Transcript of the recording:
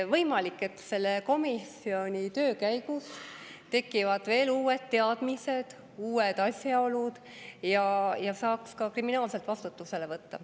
Võimalik, et selle komisjoni töö käigus tekivad veel uued teadmised, uued asjaolud, ja saaks ka kriminaalvastutusele võtta.